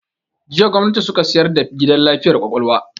Jiya gwamnati suka sayar da gidan lafiyar kwakwalwa